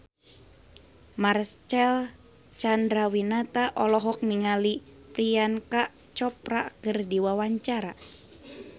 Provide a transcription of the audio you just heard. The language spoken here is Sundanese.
Marcel Chandrawinata olohok ningali Priyanka Chopra keur diwawancara